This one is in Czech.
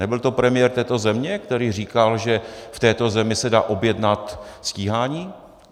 Nebyl to premiér této země, který říkal, že v této zemi se dá objednat stíhání?